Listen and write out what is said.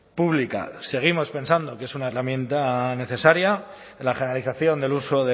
pública seguimos pensando que es una herramienta necesaria la generalización del uso